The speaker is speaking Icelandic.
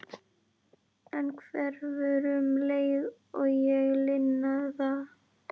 En hverfur um leið og ég lina það.